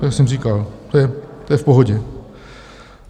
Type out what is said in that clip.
Jak jsem říkal, to je v pohodě.